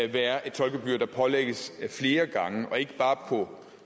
være et toldgebyr der pålægges flere gange og ikke bare på